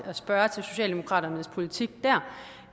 at spørge til socialdemokratiets politik dér